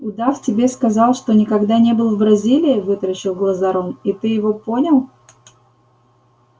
удав тебе сказал что никогда не был в бразилии вытаращил глаза рон и ты его понял